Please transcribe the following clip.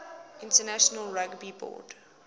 international rugby board